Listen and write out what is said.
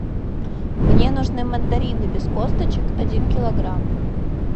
мне нужны мандарины без косточек один килограмм